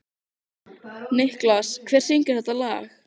Nikolas, hver syngur þetta lag?